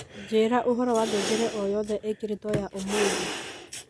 njira uhoro wa ngengere oyothe ikiritwo ya umuthi